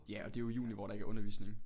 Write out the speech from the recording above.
Ja og det jo i juni hvor der ikke er undervisning